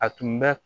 A tun bɛ